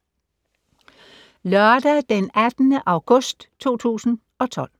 Lørdag d. 18. august 2012